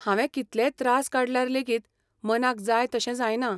हांवें कितलेय त्रास काडल्यार लेगीत मनाक जाय तशें जायना.